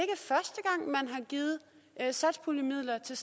givet satspuljemidler til